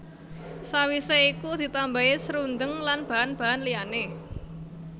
Sawise iku ditambahi srundeng lan bahan bahan liyane